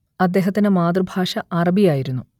അദ്ദേഹത്തിന്റെ മാതൃഭാഷ അറബി ആയിരുന്നു